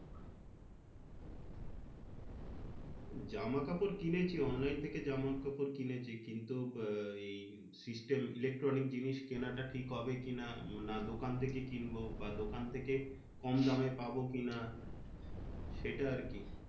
জামাকাপড় কিনেছি online থেকে জামাকাপড় কিনেছি। কিন্তু আহ এই system electronic জিনিস কেনাটা ঠিক হবে কি না? না দোকান থেকে কিনবো? বা দোকান থেকে কম দামে পাবো কি না? সেটা আর কি।